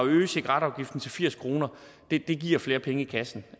at øge cigaretafgiften til firs kroner giver flere penge i kassen